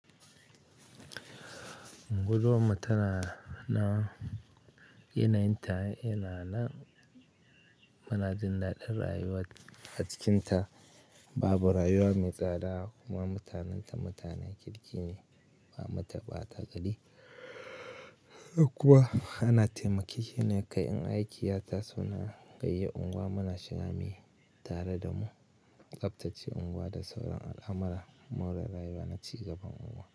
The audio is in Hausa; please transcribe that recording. Unguwar mu tana nan yanayin ta yana nan munajin daɗin rayuwa. A cikinta babu rayuwa mai tsada kuma mutanenta mutanan kirki ne, ba matane bata gari kuwa ana taimake ke ne kai. 'Yan aiki ya ta suna gayyaye unguwa muna shiga mai tare da mu. Tsaftace unguwa da sauran al'amara maurar rayuwa da cigaban unguwa.